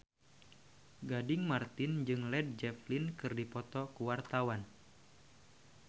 Gading Marten jeung Led Zeppelin keur dipoto ku wartawan